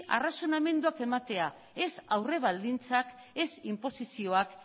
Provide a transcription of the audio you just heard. arrazonamenduak ematea ez aurre baldintzak ez inposizioak